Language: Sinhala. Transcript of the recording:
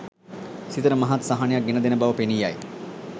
සිතට මහත් සහනයක් ගෙනදෙන බව පෙනී යයි.